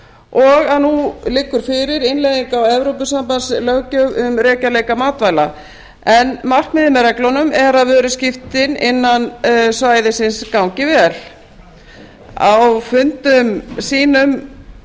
og að nú liggur fyrir innleiðing á evrópusambandslöggjöf um rekjanleika matvæla en markmiðið með reglunum er að vöruskiptin innan svæðisins gangi vel á fundum sínum